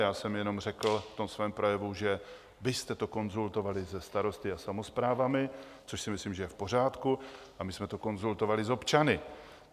Já jsem jenom řekl v tom svém projevu, že jste to konzultovali se starosty a samosprávami, což si myslím, že je v pořádku, a my jsme to konzultovali s občany.